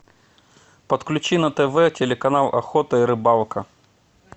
подключи на тв телеканал охота и рыбалка